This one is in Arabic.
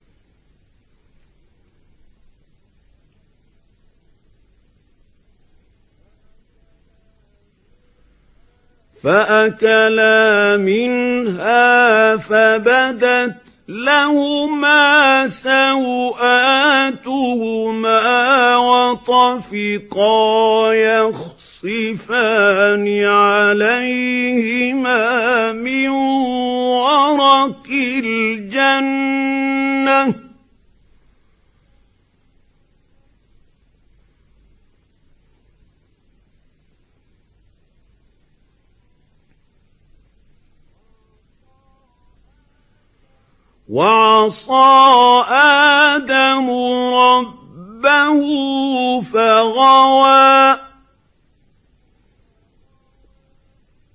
فَأَكَلَا مِنْهَا فَبَدَتْ لَهُمَا سَوْآتُهُمَا وَطَفِقَا يَخْصِفَانِ عَلَيْهِمَا مِن وَرَقِ الْجَنَّةِ ۚ وَعَصَىٰ آدَمُ رَبَّهُ فَغَوَىٰ